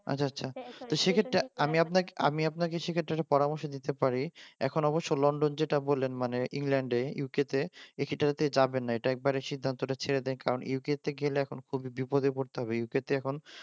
আচ্ছা আচ্ছা সে ক্ষেত্রে আমি আপনাকে আমি সে ক্ষেত্রে একটা পরামর্শ দিতে পারি এখন অবশ্য লন্ডন যেটা বলেন মানে মানে ইংল্যান্ডের এ UK যাবেন না এটা একদম একবার সিদ্ধান্তটা ছেড়ে দেন কারণ UK গেলে খুব বিপদে পড়তে হবে কারণ UK এখন খুবই